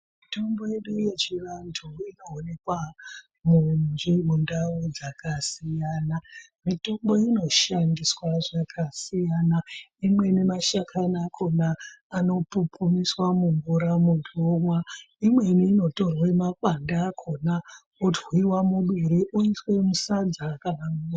Mitombo yedu yechivantu inoonekwa mundau dzakasiyana mitombo inoshandiswa zvakasiyana. Imweni mashakani akona anopupumiswa mumvura muntu omwa. Imweni inotorwe makwande akona otwiwa muduri oiswa musadza...